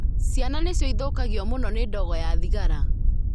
Ciana nĩcio ithũkagio mũno nĩ ndogo ya thigara.